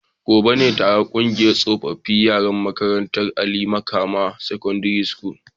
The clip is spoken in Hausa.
Gobe ​​ne taron kungiyar tsofaffin yaran makarantar Ali Makama secondary school